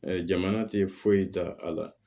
jamana tɛ foyi ta a la